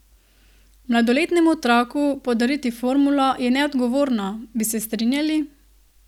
Mladoletnemu otroku podariti formulo je neodgovorno, bi se strinjali?